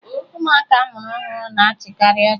Ụmụaka a mụrụ ọhụrụ na-achịkarị ọchị